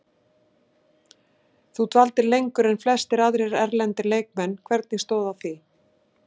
Þú dvaldir lengur en flestir aðrir erlendir leikmenn, hvernig stóð að því?